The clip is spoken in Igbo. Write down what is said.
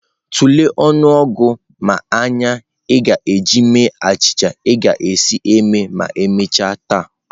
Tulee ọnụọgụ mmanya ị ga-eji mee achịcha ị ga-esi eme ma emechaa taa.